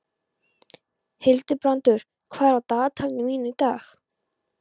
Hildibrandur, hvað er á dagatalinu mínu í dag?